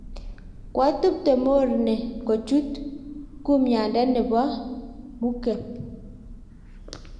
koatubte morne kochut kumyande ne bo mukebw